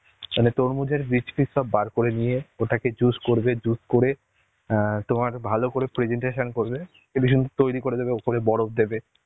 মানে তরমুজের বীজ পিস সব বার করে নিয়ে, ওটাকে juice করবে, juice করে অ্যাঁ তোমার ভালো করে presentation করবে তৈরী করে দেবে ওপরে বরফ দেবে,